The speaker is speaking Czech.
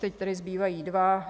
Teď tedy zbývají dva.